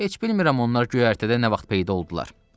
Heç bilmirəm onlar göyərtədə nə vaxt peyda oldular.